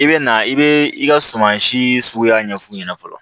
I bɛ na i bɛ i ka suman si suguya ɲɛf'u ɲɛna fɔlɔ